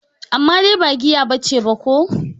Amma dai ba giya bace ba ko?